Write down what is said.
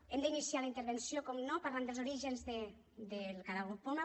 hem d’iniciar la intervenció evidentment parlant dels orígens del caragol poma